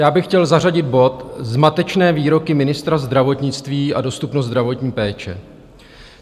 Já bych chtěl zařadit bod Zmatečné výroky ministra zdravotnictví a dostupnost zdravotní péče.